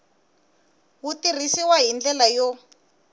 wu tirhisiw hi ndlela yo